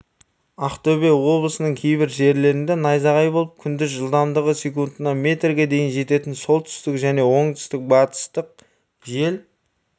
ақтөбе облысының кейбір жерлерінде найзағай болып күндіз жылдамдығы секундына метрге дейін жететін солтүстік және солтүстік-батыстық жел